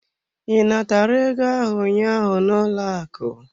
I natara ego ahụ ụnyaahụ n'ụlọ akụ?